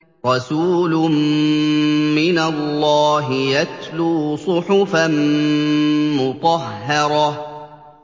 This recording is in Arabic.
رَسُولٌ مِّنَ اللَّهِ يَتْلُو صُحُفًا مُّطَهَّرَةً